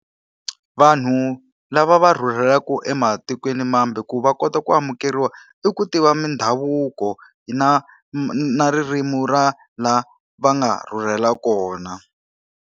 Vanhu lava va rhurhelaka ematikweni mambe ku va kota ku amukeriwa, i ku tiva mindhavuko na na ririmi ra laha va nga rhurhela kona.